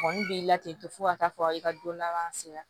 Kɔni b'i la tento fo ka taa fɔ i ka don laban sera